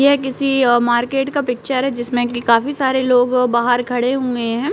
यह किसी अ मार्किट का पिक्चर जिसमें की काफी सारे लोगों बाहर खड़े हुए हैं।